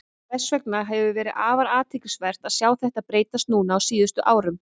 Þess vegna hefur verið afar athyglisvert að sjá þetta breytast núna á síðustu árum.